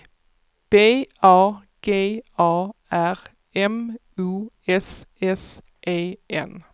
B A G A R M O S S E N